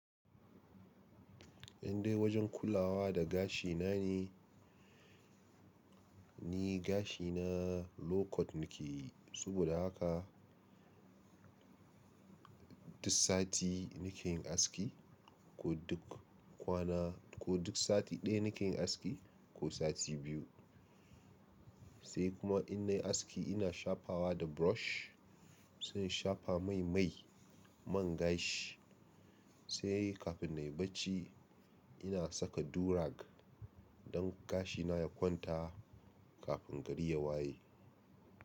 Indai wajen kulawa da gashi na ne, ni gashi na low cut nake yi saboda haka duk sati nake yin aski ko duk kwana ko duk sati ɗaya nake yin aski ko sati biyu. Sai kuma in na yi aski ina shafawa da brush sai in shafa mai mai man gashi. Sai kafin na yi bacci. Ina saka durag don gashi na ya kwanta. Kafin gari ya waye.